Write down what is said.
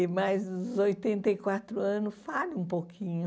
E mais os oitenta e quatro anos falham um pouquinho.